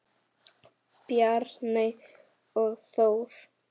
Bjarney og Þór.